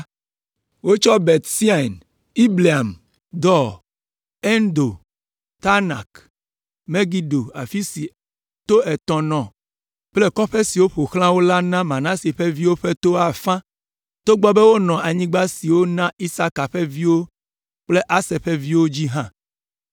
Wotsɔ Bet Sean, Ibleam, Dor, Endor, Taanak Megido afi si to etɔ̃ nɔ kple kɔƒe siwo ƒo xlã wo la na Manase ƒe viwo ƒe to afã togbɔ be wonɔ anyigba siwo wona Isaka ƒe viwo kple Aser ƒe viwo dzi hã.